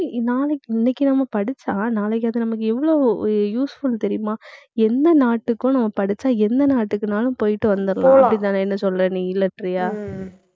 நாளைக்கு இன்னைக்கு நம்ம படிச்சா, நாளைக்கு அது நமக்கு எவ்ளோ useful தெரியுமா எந்த நாட்டுக்கும் நம்ம படிச்சா, எந்த நாட்டுக்குனாலும் போயிட்டு வந்துடுறோம். அப்படித்தானே என்ன சொல்ற நீ இல்லைன்றியா